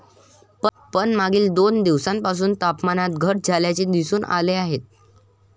पण मागील दोन दिवसांपासून तापमानात घट झाल्याचे दिसून आले आहे.